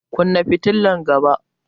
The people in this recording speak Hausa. Kunna fitilan gaba!